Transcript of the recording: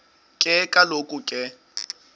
ke kaloku ke